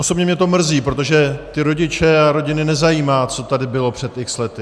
Osobně mě to mrzí, protože ty rodiče a rodiny nezajímá, co tady bylo před x lety.